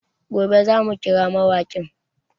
Gobe za mu kira mawaƙin